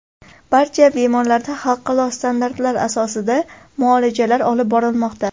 Barcha bemorlarda xalqaro standartlar asosida muolajalar olib borilmoqda.